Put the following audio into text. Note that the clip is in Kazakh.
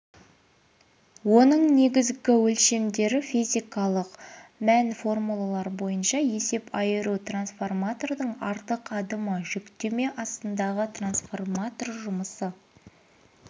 оның негізгі өлшемдері физикалық мән формулалар бойынша есеп айырысу трансформатордың артық адымы жүктеме астындағы трансформатор жұмысы